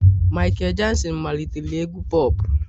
Michael Jackson malitere egwu pop